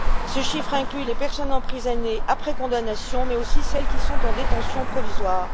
Ce chiffre inclut les personnes emprisonnées après condamnation, mais aussi celles qui sont en détention provisoire.